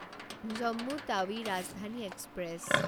Jammu Tawi Rajdhani express